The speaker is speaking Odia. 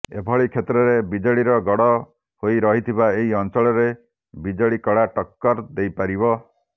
ଏଭଳି କ୍ଷେତ୍ରରେ ବିଜେଡିର ଗଡ ହୋଇ ରହିଥିବା ଏହି ଅଂଚଳରେ ବିଜେଡି କଡା ଟକ୍କର ଦେଇପାରିବ